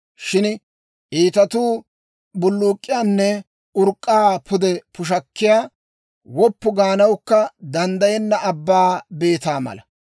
Shin iitatuu bulluuk'k'iyaanne urk'k'aa pude pushakkiyaa, woppu gaanawukka danddayenna abbaa beetaa mala.